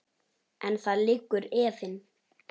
En þar liggur efinn.